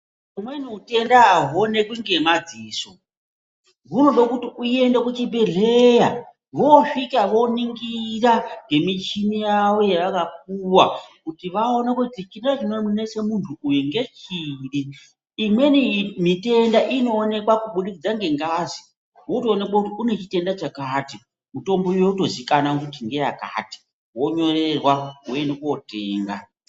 Umweni hutenda ahu onekwi nge madziso hunode kuti uyende ku chibhedhleya wo svika wo ningira nge michini yavo yavaka puwa kuti vaone kuti chimweni chino nese muntu nge chiri imweni mitenda ino onekwa ku budikidza nge ngazi woto onekwa kuti une chitenda chakati mutombo yoto zikanwa kuti nde yakati wo nyorerwa wo ende kotenga.